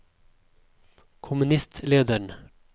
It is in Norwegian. kommunistlederen